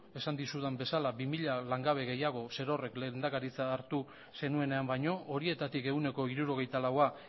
esan dizudan bezala bi mila langabe gehiago zerorrek lehendakaritza hartu zenuenean baino horietatik ehuneko hirurogeita laua